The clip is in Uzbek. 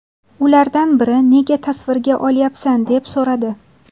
Ulardan biri ‘Nega tasvirga olyapsan?’ deb so‘radi.